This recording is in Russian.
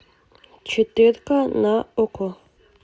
четыре ка на окко